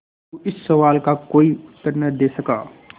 अलगू इस सवाल का कोई उत्तर न दे सका